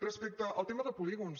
respecte al tema de polígons